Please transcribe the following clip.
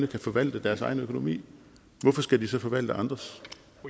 kan forvalte deres egen økonomi hvorfor skal de så forvalte andres